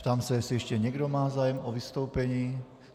Ptám se, jestli ještě někdo má zájem o vystoupení.